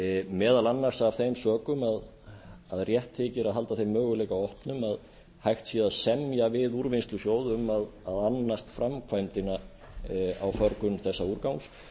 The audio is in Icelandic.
meðal annars af þeim sökum að rétt þykir að halda þeim möguleika opnum að hægt sé að semja við úrvinnslusjóð um að annast framkvæmdina á förgun þessa úrgangs